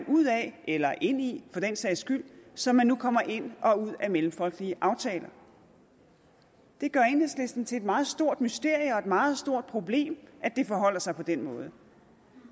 ud af eller ind i for den sags skyld som man nu kommer ind og ud af mellemfolkelige aftaler det gør enhedslisten til et meget stort mysterium meget stort problem at det forholder sig på den måde